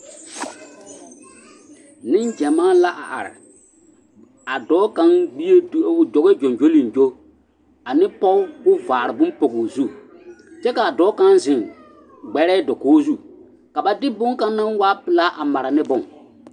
Neŋgyɛmaa la a are, a dɔɔ kaŋ gbie o dɔɔ gyoŋgyoliŋgyo ane pɔge k'o vaare bone o zu kyɛ k'a dɔɔ kaŋ zeŋ gbɛrɛɛ dakogi zu ka ba de boŋkaŋ naŋ waa pelaa a mara ne bone.